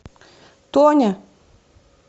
тоня